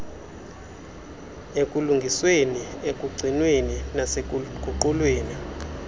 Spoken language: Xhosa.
ekulungisweni ekugcinweni nasekuguqulweni